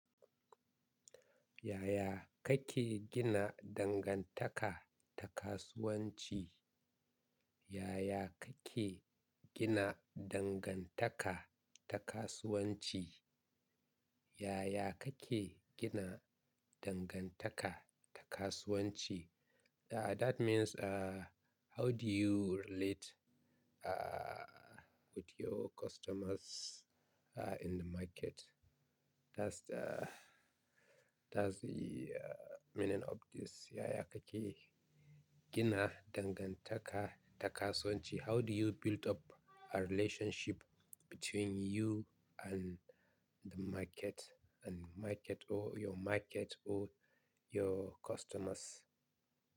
Yaya kake gina dangantaka da kasuwanci? Yaya kake gina dangantaka da kasuwanci? Yaya kake gina dangantaka da kasuwanci? Uh, that means, uh, how do you relate, uh, with your customers, uh, in the market? That's the, that's the, uh, meaning of this yaya kake gina dangantaka da kasuwanci. How do you build up a relationship between you and the market, and market or your market or your customers.